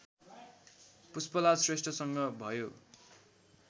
पुष्पलाल श्रेष्ठसँग भयो